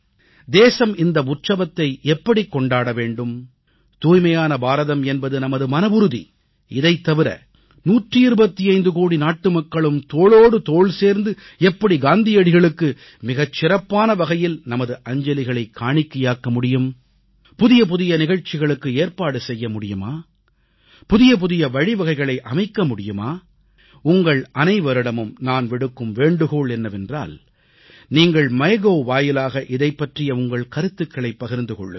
தேசம் இந்த உற்சவத்தை எப்படிக் கொண்டாட வேண்டும் தூய்மையான பாரதம் என்பது நமது மனவுறுதி இதைத் தவிர 125 கோடி நாட்டுமக்களும் தோளோடு தோள் சேர்ந்து எப்படி காந்தியடிகளுக்கு மிகச் சிறப்பான வகையில் நமது அஞ்சலிகளைக் காணிக்கையாக்க முடியும் புதியபுதிய நிகழ்ச்சிகளுக்கு ஏற்பாடு செய்ய முடியுமா புதியபுதிய வழிவகைகளை அமைக்க முடியுமா உங்கள் அனைவரிடமும் நான் விடுக்கும் வேண்டுகோள் என்னவென்றால் நீங்கள் மைகோவ் வாயிலாக இதைப் பற்றிய உங்கள் கருத்துகளைப் பகிர்ந்து கொள்ளுங்கள்